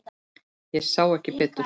Ég sá ekki betur.